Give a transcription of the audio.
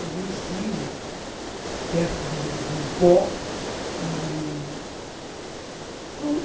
Também estive perto do Rio Pó, e...